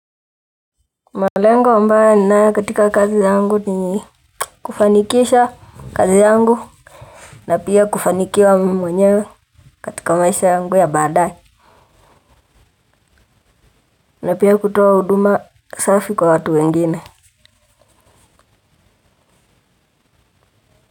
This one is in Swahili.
Malengo ambaye ninaye katika kazi yangu ni kufanikisha kazi yangu na pia kufanikiwa mimi mwenyewe katika maisha yangu ya badae. Na pia kutoa huduma safi kwa watu wengine.